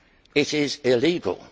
it is illegal.